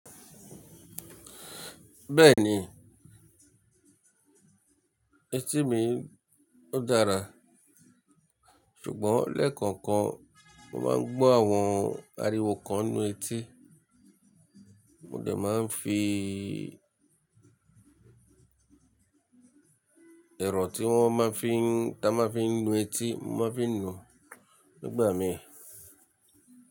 Bẹ́ẹ̀ni, etí mi ó dára, ṣùgbọ́n lẹ́ẹ̀kọ̀kan mo máa ń gbọ́ àwọn ariwo kan inú etí. Mo dà máa ń fi ẹ̀rọ tí wọ́n máa fi ń, tí a máa fi ń nu etí, mo máa fi ń nu nígbà mi.